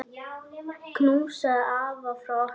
Knúsaðu afa frá okkur.